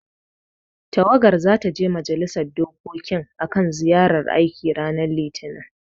Tawagar zata je majalisar dokokin akan ziyarar aiki ranar Litinin.